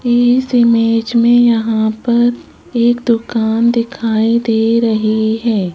इस इमेज यहां पर एक दुकान दिखाई दे रही हैं।